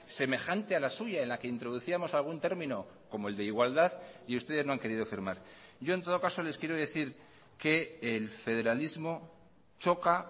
semejante a la suya en la que introducíamos algún término como el de igualdad y ustedes no han querido firmar yo en todo caso les quiero decir que el federalismo choca